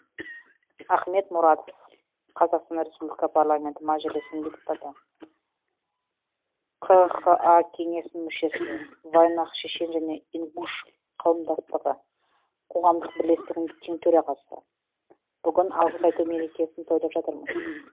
ахмед мурадов қазақстан республика парламенті мәжілісінің депутаты қха кеңесінің мүшесі вайнах шешен және ингуш қауымдастығы қоғамдық бірлестігінің тең төрағасы бүгін алғыс айту мерекесін тойлап жатырмыз